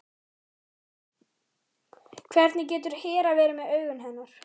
Hvernig getur Hera verið með augun hennar?